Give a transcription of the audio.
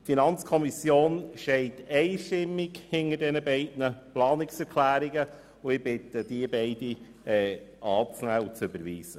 Die FiKo steht einstimmig hinter den beiden Planungserklärungen, und ich bitte Sie, beide zu überweisen.